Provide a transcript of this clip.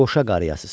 Qoşa qarıyasız.